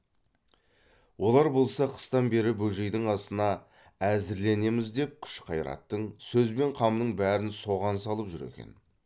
олар болса қыстан бері бөжейдің асына әзірленеміз деп күш қайраттың сөз бен қамның бәрін соған салып жүр екен